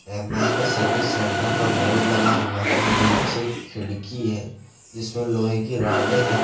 MI का service centre का board लगा हुआ है नीचे खिड़की है जिसमें लोहे की राडें हैं।